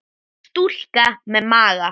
Stúlka með maga.